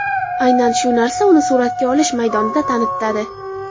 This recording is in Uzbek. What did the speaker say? Aynan shu narsa uni suratga olish maydonida tanitadi.